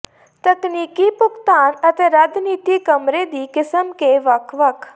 ਤਕਨੀਕੀ ਭੁਗਤਾਨ ਅਤੇ ਰੱਦ ਨੀਤੀ ਕਮਰੇ ਦੀ ਕਿਸਮ ਕੇ ਵੱਖ ਵੱਖ